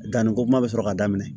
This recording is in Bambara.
Danniko kuma bɛ sɔrɔ ka daminɛ